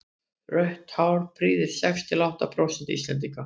rautt hár prýðir sex til átta prósent íslendinga